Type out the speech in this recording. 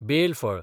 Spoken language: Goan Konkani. बेल फळ